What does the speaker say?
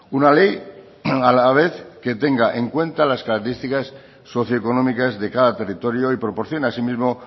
una ley a la vez que tenga en cuenta las características socioeconómicas de cada territorio y proporciona asimismo